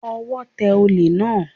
Ọwọ́ tẹ olè náà